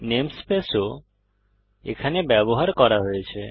namespace ও এখানে ব্যবহার করা হয়েছে